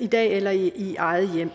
i dag eller i eget hjem